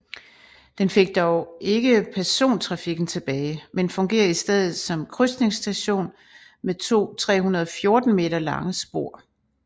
Den fik dog ikke persontrafikken tilbage men fungerer i stedet som krydsningsstation med to 314 m lange spor